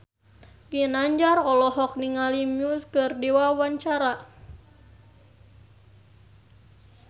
Ginanjar olohok ningali Muse keur diwawancara